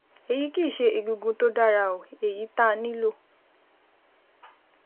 Èyí kì í ṣe egungun tó dára, èyí tá a nílò